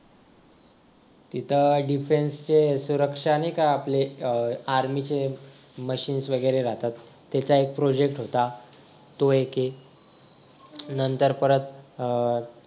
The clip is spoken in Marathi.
तिथे dependence सुरक्षा नाही का ते आपले आर्मीचे machine वगैरे राहतात त्याचा एक project होता तो एक आहे नंतर परत अह